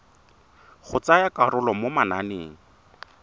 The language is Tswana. go tsaya karolo mo mananeng